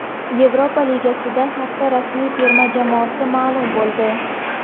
Yevropa Ligasida hafta ramziy terma jamoasi ma’lum bo‘ldi.